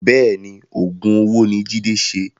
Bẹ́ẹ̀ni Oògùn owó ni Jide ṣe